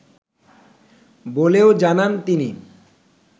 বলেও জানান তিনি